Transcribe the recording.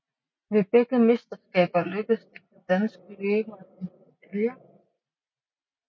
Ved begge mesterskaber lykkedes det for danske løbere at hente medaljer